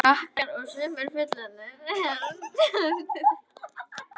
Krakkar og sumir fullorðnir hermdu eftir henni, bæði raddbrigði og göngulag.